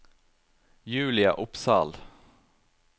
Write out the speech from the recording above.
Julia Opsahl